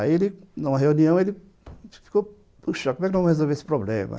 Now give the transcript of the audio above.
Aí, numa reunião, ele ficou... Puxa, como é que nós vamos resolver esse problema?